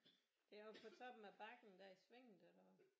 Det er oppe på toppen af bakken der i svinget eller hvad